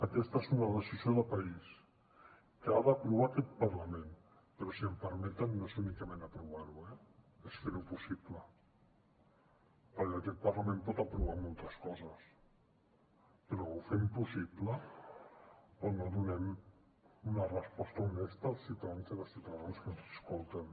aquesta és una decisió de país que ha d’aprovar aquest parlament però si m’ho permeten no és únicament aprovar ho eh és fer ho possible perquè aquest parlament pot aprovar moltes coses però o ho fem possible o no donem una resposta honesta als ciutadans i les ciutadanes que ens escolten